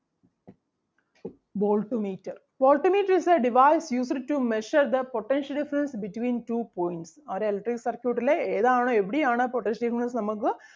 volt meter volt meter is the device used to measure the potential difference between two points ഒരു electric circuit ലെ ഏതാണ് എവിടെയാണ് potential difference നമ്മക്ക്